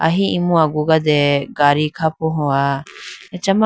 ahi imu agugade gadi khapohowa achama.